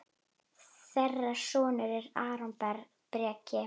Þeirra sonur er Aron Breki.